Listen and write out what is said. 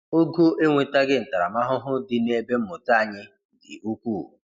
Ogo enwetaghị ntaramahụhụ dị nebe mmụta anyị dị ukwuu.